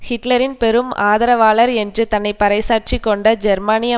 ஹிட்லரின் பெரும் ஆதரவாளர் என்று தன்னை பறை சாற்றிக்கொண்ட ஜெர்மனிய